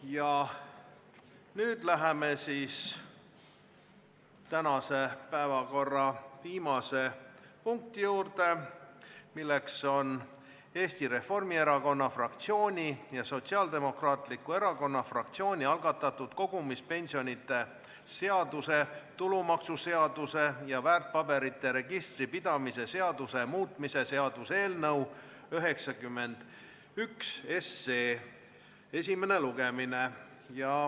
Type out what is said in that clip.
Ja nüüd läheme tänase päevakorra viimase punkti juurde, milleks on Eesti Reformierakonna fraktsiooni ja Sotsiaaldemokraatliku Erakonna fraktsiooni algatatud kogumispensionide seaduse, tulumaksuseaduse ja väärtpaberite registri pidamise seaduse muutmise seaduse eelnõu 91 esimene lugemine.